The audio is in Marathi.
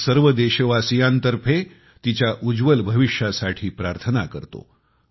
मी सर्व देशवासीयांतर्फे तिच्या उज्ज्वल भविष्यासाठी प्रार्थना करतो